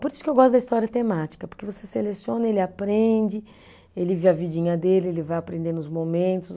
Por isso que eu gosto da história temática, porque você seleciona, ele aprende, ele vê a vidinha dele, ele vai aprendendo os momentos